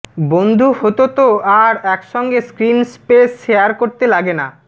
বন্ধু হত তো আর একসঙ্গে স্ক্রিন স্পেস শেয়ার করতে লাগে না